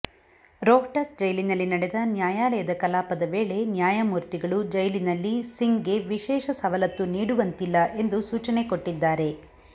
ರೋಹ್ಟಕ್ ಜೈಲಿನಲ್ಲಿ ನಡೆದ ನ್ಯಾಯಾಲಯದ ಕಲಾಪದ ವೇಳೆ ನ್ಯಾಯಮೂರ್ತಿಗಳು ಜೈಲಿನಲ್ಲಿ ಸಿಂಗ್ಗೆ ವಿಶೇಷ ಸವಲತ್ತು ನೀಡುವಂತಿಲ್ಲ ಎಂದು ಸೂಚನೆ ಕೊಟ್ಟಿದ್ದಾರೆ